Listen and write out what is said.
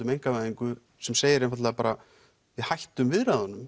um einkavæðingu sem segir einfaldlega bara við hættum